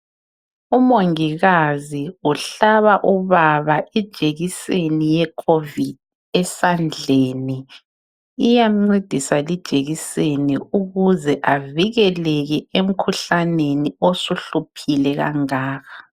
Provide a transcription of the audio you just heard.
Umongikazi uhlaba ubaba ijekiseni yecovid esandleni .Iyamncedisa lijekiseni ukuze avikeleke emkhuhlaneni osuhluphile kangaka.